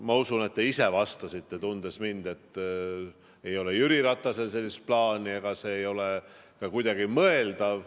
Ma usun, et te ise vastasite, tundes mind, et ei ole Jüri Ratasel sellist plaani ega ole see ka kuidagi mõeldav.